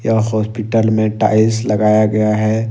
Hospital में tiles लगाया गया है।